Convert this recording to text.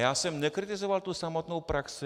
Já jsem nekritizoval tu samotnou praxi.